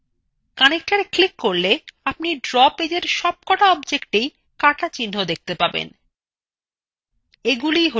connector click করলে আপনি draw পেজএর সবকটা objectswhen কাটা চিহ্ন দেখতে পাবেন